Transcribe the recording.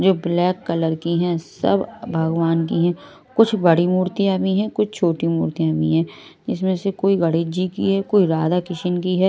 जो black colour की है। सब भगवान की है कुछ बड़ी मूर्तियां भी है कुछ छोटी मूर्तियां भी हैं इसमें से कोई गणेश जी की है कोई राधा-किशन की है।